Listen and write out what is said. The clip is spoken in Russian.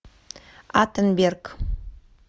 аттенберг